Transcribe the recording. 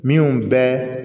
Min bɛ